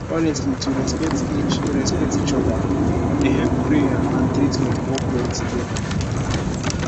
honestly to respect each respect each oda dey help prayer and treatment work well together